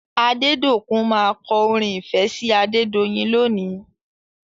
Adédòkun má kọ orin ìfẹ́ sí Adedoyin lónìí.